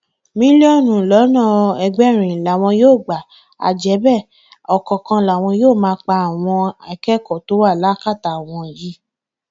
ohun tó sì dùn mọ àwọn nínú ni pé arákùnrin àwọn ti lọ sọdọ olùgbàlà láti sinmi láyà ẹlẹdàá rẹ